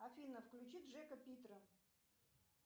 афина включи джека питера